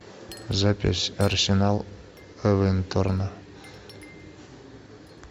запись арсенал эвертона